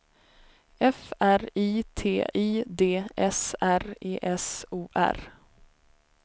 F R I T I D S R E S O R